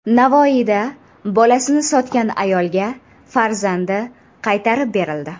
Navoiyda bolasini sotgan ayolga farzandi qaytarib berildi.